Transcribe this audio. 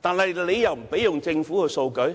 但當局卻不容許他們使用政府的數據。